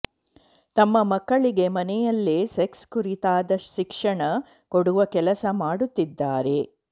ತಮ್ಮ ಮಕ್ಕಳಿಗೆ ಮನೆಯಲ್ಲೇ ಸೆಕ್ಸ್ ಕುರಿತಾದ ಶಿಕ್ಷಣ ಕೊಡುವ ಕೆಲಸ ಮಾಡುತ್ತಿದ್ದಾರೆ